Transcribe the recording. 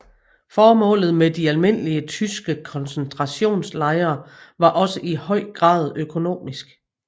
Formålet med de almindelige tyske koncentrationslejre var også i høj grad økonomisk